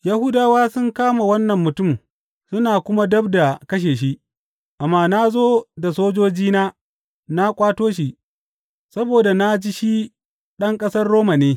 Yahudawa sun kama wannan mutum suna kuma dab da kashe shi, amma na zo da sojojina na ƙwato shi, saboda na ji shi ɗan ƙasar Roma ne.